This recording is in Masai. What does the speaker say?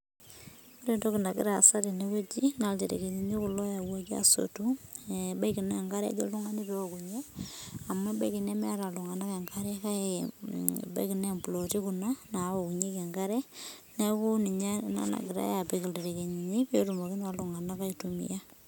Ore entoki nagira aasa tene naa iljerikini kulo oipangaki ebaiki naa engare ejo oltungani peeokunye amu ebaiki nemeeta iltunganak engare nebaiki naa implooti kuna naawokunyeki enkare niaku ninye ena napikitai iljerikeni petumokini aitumia